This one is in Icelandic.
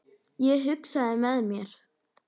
Ég hugsaði með mér